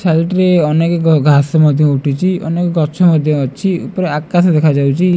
Side ରେ ଅନେକ ଘାସ ମଧ୍ୟ ଉଠିଛି ଅନେକ ଗଛ ମଧ୍ୟ ଅଛି ଉପରେ ଆକାଶ ଦେଖାଯାଉଛି।